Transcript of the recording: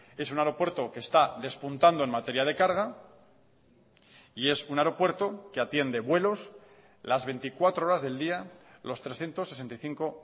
es un aeropuerto que está despuntando en materia de carga y es un aeropuerto que atiende vuelos las veinticuatro horas del día los trescientos sesenta y cinco